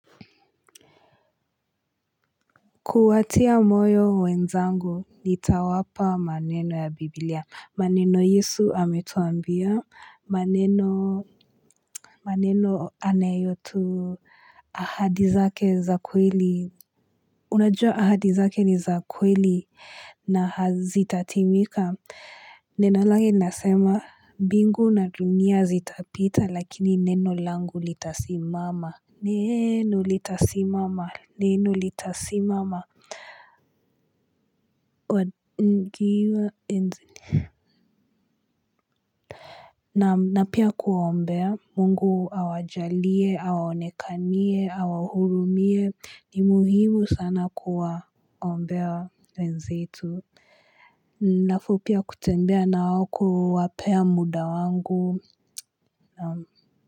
Kuwatia moyo wenzangu, nitawapa maneno ya Biblia. Maneno Yesu Ametuambia maneno maneno anayotu ahadi zake za kweli. Unajua ahadi zake ni za kweli, na hazitatimika. Neno lake linasema, mbingu na dunia zitapita lakini neno langu litasimama. Neeno litasimama. Neno litasimama. On nkiwa enz na pia kuombea Mungu awajalie, awaonekanie, awahurumie, ni muhimu sana kuwa ombea wenzetu. Nafupia kutembea nao ku wapea muda wangu.